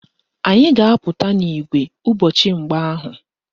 Anyị ga-apụta n'ìgwè ụbọchị mgba ahụ